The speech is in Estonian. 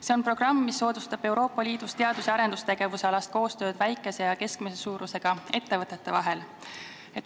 See on programm, mis soodustab Euroopa Liidus teadus- ja arendustegevusalast koostööd väikeste ja keskmise suurusega ettevõtete vahel.